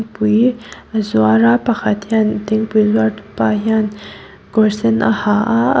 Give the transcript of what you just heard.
pui a zuar a pakhat hian thingpui zuar tu pa hian kawr sen a ha aa--